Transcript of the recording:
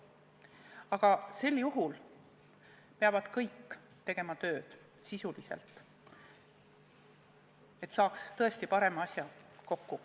Aga sel juhul peavad kõik tegema sisulist tööd, et saaks tõesti parema seaduse kokku.